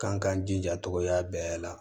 K'an k'an jija togoya bɛɛ la